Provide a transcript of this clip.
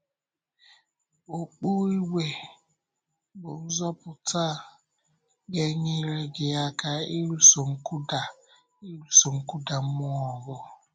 Okpù ígwè bụ́ nzọpụta ga-enyere gị aka ịlụso nkụda ịlụso nkụda mmụọ ọgụ.